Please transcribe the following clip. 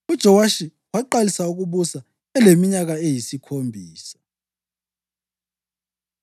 UJowashi waqalisa ukubusa eleminyaka eyisikhombisa.